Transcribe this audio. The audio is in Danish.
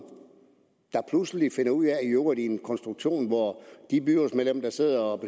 i øvrigt med en konstruktion hvor de byrådsmedlemmer der sidder og